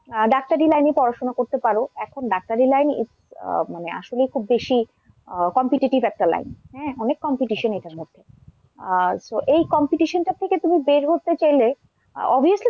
আহ ডাক্তারি line এ পড়াশোনা করতে পারো, এখন ডাক্তারি line আহ মানে আসলেই খুব বেশি আহ competitive একটা line হ্যাঁ অনেক competition এটার মধ্যে। আর তো এই competition টা থেকে তুমি বের হতে চাইলে obviously,